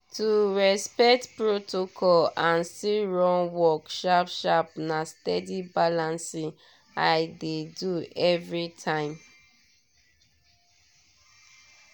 to respect protocol and still run work sharp-sharp na steady balancing i dey do every time.